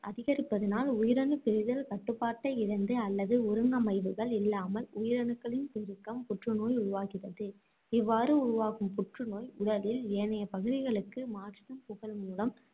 அதிகரிப்பதனால் உயிரணு பிரிதல் கட்டுப்பாட்டை இழந்து, அல்லது ஒருங்கமைவுகள் இல்லாமல், உயிரணுக்களின் பெருக்கம் புற்று நோய் உருவாகிறது. இவ்வாறு உருவாகும் புற்று நோய் உடலில் ஏனைய பகுதிகளுக்கு மாற்றிடம் புகல் மூலம்